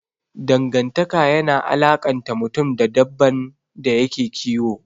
Dangantaka yana alakanta mutum da dabban da yake kiyo.